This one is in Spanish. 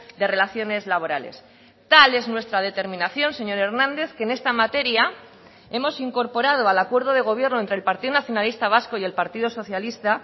de relaciones laborales tal es nuestra determinación señor hernández que en esta materia hemos incorporado al acuerdo de gobierno entre el partido nacionalista vasco y el partido socialista